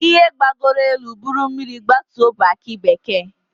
Ihe gbagoro elu buru mmiri gbatuo bụ aki bekee.